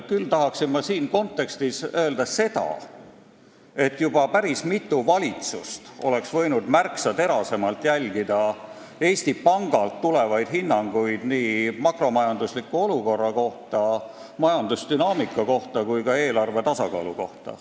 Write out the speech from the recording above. Küll tahan ma siin kontekstis öelda seda, et juba päris mitu valitsust oleks võinud märksa terasemalt jälgida Eesti Pangalt tulnud hinnanguid nii makromajandusliku olukorra ja majandusdünaamika kohta kui ka eelarve tasakaalu kohta.